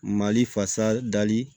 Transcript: Mali fasa dali